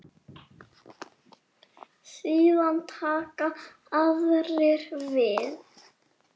Síðan taka aðrir við.